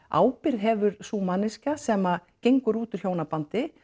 ábyrgð hefur sú manneskja sem gengur út úr hjónabandi